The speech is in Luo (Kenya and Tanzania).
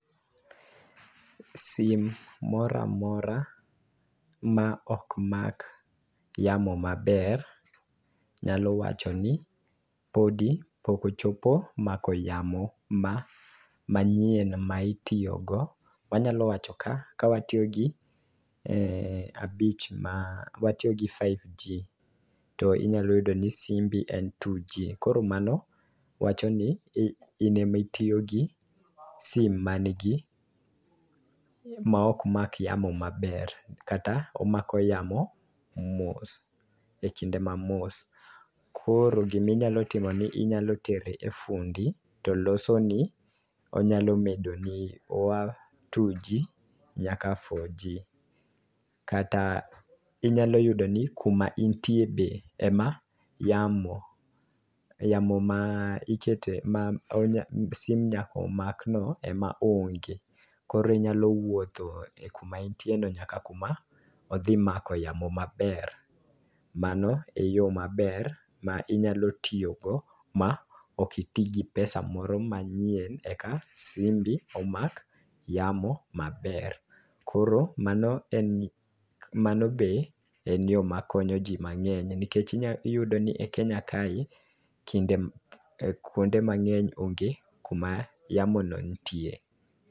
Sim moramora ma ok mak yamo maber nyalo wacho ni podi poko chopo mako yamo ma manyien ma itiyo go ,wanyalo wacho ka watiyo gi e abich ma watiyo gi five G to inyalo yudo ni simbi en two G koro mano wacho ni inemi tiyo gi sim manigi ma ok mak yamo maber, kata omako yamo mos e kinde ma mos .Koro giminyalo timo ni inyalo tere e fundi to losoni onyalo medo ni two G nyaka four G. kata inyalo yudo ni kum anitie be ema yamo yamo ma ikete ma onya sim nyako mak no ema onge koro inyalo wuotho kuma entie no nyaka kuma odhi mako yamo maber. Mano e yo maber minyalo tiyo go ma ok itii gi pesa moro manyien eka simbi omak yamo maber. Koro mano en mano be en yoo makonyo ji mang'eny nikech inya yudo ni kenya kae kinde kuonde mang'eny onge kuma yamo no nitie.